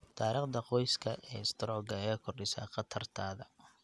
Taariikhda qoyska ee istaroogga ayaa kordhisa khatartaada.